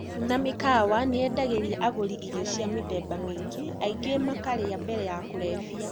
Irabu na mĩkawa nĩyendagĩria agũri irio cia mĩthemba mĩingĩ, aingĩ ao makarĩa mbere ya kũrebia.